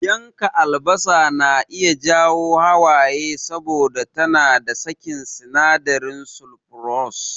Yanka albasa na iya jawo hawaye saboda tana sakin sinadarin sulfurous.